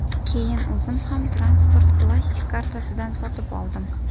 Keyin o‘zim ham transport plastik kartasidan sotib oldim.